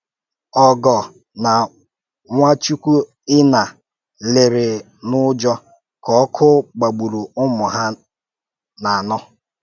Ogor na Nwáchúkwùínà lèèrè n’ùjọ́ ka ọ̀kụ́ gbagbùrù ụmụ ha na-anọ́.